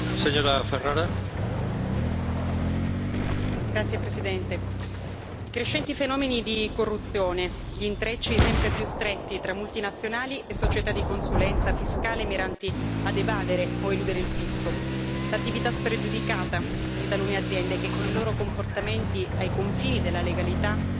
Signor Presidente, onorevoli colleghi, i crescenti fenomeni di corruzione, gli intrecci sempre più stretti tra multinazionali e società di consulenza fiscale miranti a evadere o eludere il fisco l'attività spregiudicata di talune aziende che, con i loro comportamenti ai confini della legalità,